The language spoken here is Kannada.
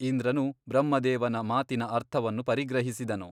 ಇಂದ್ರನು ಬ್ರಹ್ಮದೇವನ ಮಾತಿನ ಅರ್ಥವನ್ನು ಪರಿಗ್ರಹಿಸಿದನು.